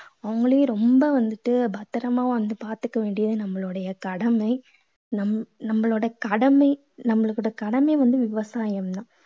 அவங்களையும் ரொம்ப வந்துட்டு பத்திரமா வந்து பாத்துக்க வேண்டியது நம்மளுடையக் கடமை. நம்ம~ நம்மளுடையக் கடமையை நம்மளோட கடமை வந்து விவசாம் தான்